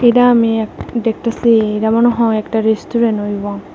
এটা আমি এক দেখতাসি এডা মনে হয় একটা রেস্তুরেন হইবো।